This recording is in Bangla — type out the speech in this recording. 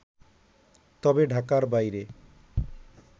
তবে ঢাকার বাইরে